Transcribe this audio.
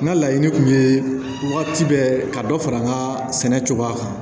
N ka laɲini tun ye wagati bɛɛ ka dɔ fara n ka sɛnɛ cogoya kan